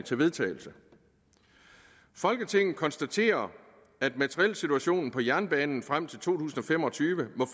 til vedtagelse folketinget konstaterer at materielsituationen på jernbanen frem til to tusind og fem og tyve